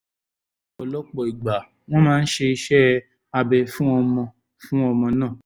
ní ọ̀pọ̀lọpọ̀ ìgbà wọ́n máa ṣe iṣẹ́ abẹ fún ọmọ fún ọmọ náà